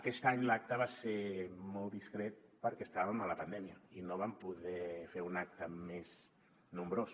aquest any l’acte va ser molt discret perquè estàvem en la pandèmia i no vam poder fer un acte més nombrós